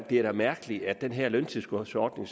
det er da mærkeligt at den her løntilskudsordning